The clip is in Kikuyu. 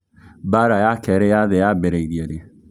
Mbara ya Kerĩ ya thĩ cĩambĩrĩrĩe rĩĩ